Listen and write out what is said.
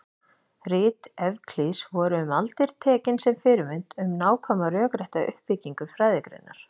Rit Evklíðs voru um aldir tekin sem fyrirmynd um nákvæma rökrétta uppbyggingu fræðigreinar.